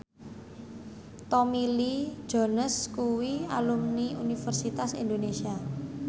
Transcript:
Tommy Lee Jones kuwi alumni Universitas Indonesia